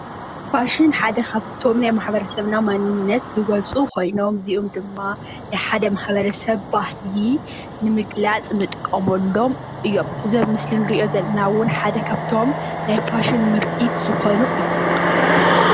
ፋሽን ሓደ ካብቲ ናይ ሕብረተሰብ መንነት ዝወፁ ኮይኖም እዚኦም ናይ ሓደ ሕብረተሰብ ባህሊ ንምግላፅ እንጥቀመሎም እዮም። እዚ ኣብ ምስሊ እንሪኦ ዘለና እውን ሓደ ካብቶም ናይ ፋሽን ምርቲ ዝኮኑ እዩ።